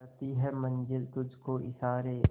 करती है मंजिल तुझ को इशारे